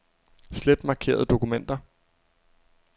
Slet markerede dokumenter.